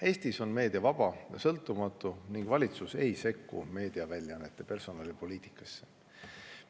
Eestis on meedia vaba ja sõltumatu ning valitsus ei sekku meediaväljaannete personalipoliitikasse.